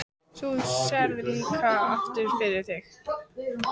Svo þú sérð líka aftur fyrir þig?